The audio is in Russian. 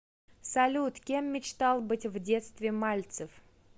салют кем мечтал быть в детстве мальцев